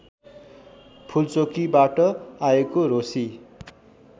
फुलचोकीबाट आएको रोसी